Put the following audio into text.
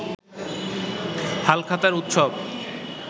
হালখাতার উৎসব